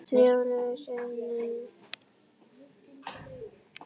Milljón sinnum.